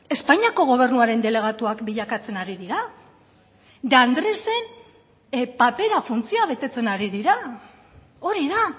espainiako gobernuaren delegatuak bilakatzen ari dira de andrés papera funtzioa betetzen ari dira hori da